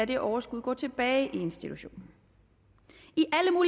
det overskud gå tilbage i institutionen